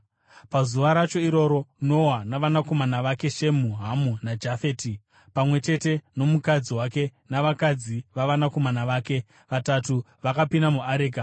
Pazuva racho iroro, Noa navanakomana vake, Shemu, Hamu naJafeti, pamwe chete nomukadzi wake navakadzi vavanakomana vake vatatu, vakapinda muareka.